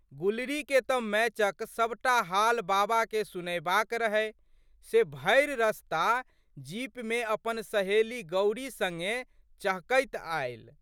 गुलरीके तऽ मैचक सबटा हाल बाबाके सुनएबाके रहै से भरि रस्ता जीपमे अपन सहेली गौरी सङ्गे चहकैत आयल।